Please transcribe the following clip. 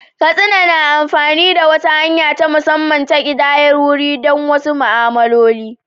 Katsina na amfani da wata hanya ta musamman ta ƙidayar wuri don wasu ma'amaloli.